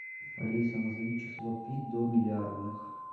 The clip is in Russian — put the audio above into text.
алиса назови число пи до миллиардных